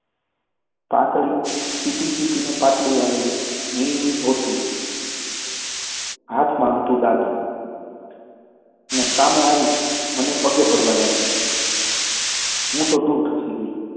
પાતળી ચીપી ચીપીને પાટલી વાળેલી મિલની ધોતલી, હાથમાં દાતણ, અને આવીને મને પગે પડવા લાગ્યો. હું તો દુર ખસી ગઈ.